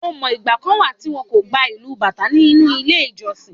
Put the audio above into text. O mọ̀, ìgbà kan wà tí wón kò gba ìlù Bàtá nínú ilé ìjọsìn.